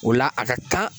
O la a ka kan